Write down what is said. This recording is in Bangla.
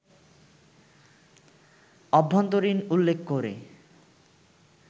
অভ্যন্তরীণ উল্লেখ করে